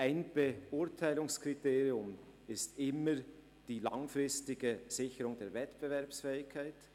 Ein Beurteilungskriterium ist immer die langfristige Sicherung der Wettbewerbsfähigkeit.